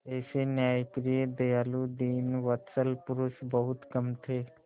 ऐसे न्यायप्रिय दयालु दीनवत्सल पुरुष बहुत कम थे